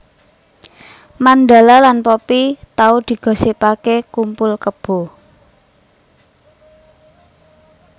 Mandala lan Poppy tau digosipake kumpul kebo